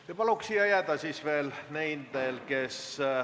Istungi lõpp kell 13.32.